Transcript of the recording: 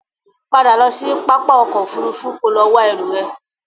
Padà lọ sí pápá ọkọ̀ Òfurufú kò lọ wá ẹrú ẹ!